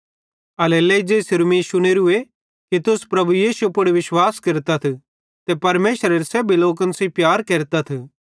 एल्हेरेलेइ ज़ेइसेरू मीं शुनेरूए कि तुस प्रभु यीशु पुड़ विश्वास केरतथ ते परमेशरेरे सेब्भी लोकन सेइं प्यार केरतथ